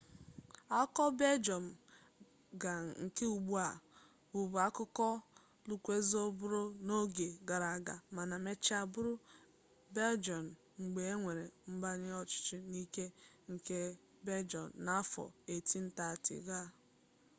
akụkụ beljọm ga nke ugbua bụbu akụkụ lukzembọọgụ n'oge gara aga mana mechaa bụrụ beljian mgbe e nwere mgbanwe ọchịchị n'ike nke beljian n'afọ 1830 ga